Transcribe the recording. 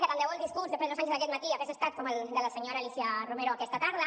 que tant de bo el discurs de pedro sánchez aquest matí hagués estat com el de la senyora alícia romero aquesta tarda